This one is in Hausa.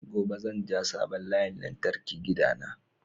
Gobe zan ja sabon layin lantarki gida na